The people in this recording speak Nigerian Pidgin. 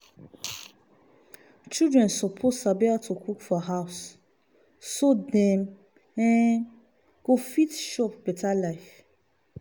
children suppose sabi how to cook for house so dem um go fit chop better life.